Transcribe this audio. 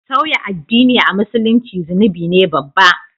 sauya addin a Musulunci zunubi ne babba